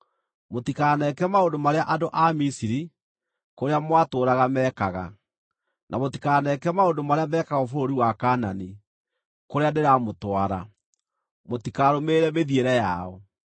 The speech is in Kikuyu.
Mũtikaneke maũndũ marĩa andũ a Misiri, kũrĩa mwatũũraga, meekaga, na mũtikaneke maũndũ marĩa mekagwo bũrũri wa Kaanani, kũrĩa ndĩramũtwara. Mũtikarũmĩrĩre mĩthiĩre yao.